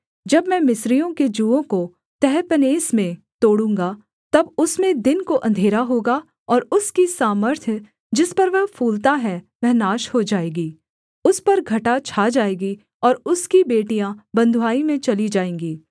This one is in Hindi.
जब मैं मिस्रियों के जुओं को तहपन्हेस में तोड़ूँगा तब उसमें दिन को अंधेरा होगा और उसकी सामर्थ्य जिस पर वह फूलता है वह नाश हो जाएगी उस पर घटा छा जाएगी और उसकी बेटियाँ बँधुआई में चली जाएँगी